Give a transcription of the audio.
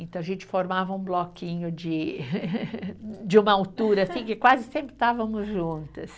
Então, a gente formava um bloquinho de uma altura, assim, que quase sempre estávamos juntas.